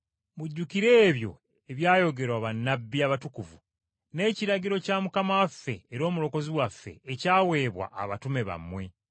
Mujjukire ebyo ebyayogerwa bannabbi abatukuvu n’ekiragiro kya Mukama waffe era Omulokozi waffe ekyaweebwa abatume bammwe.